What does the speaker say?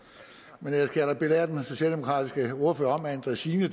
men ellers kan jeg da belære den socialdemokratiske ordfører om at en dræsine